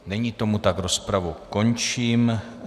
Není tomu tak, rozpravu končím.